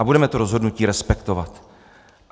A budeme to rozhodnutí respektovat.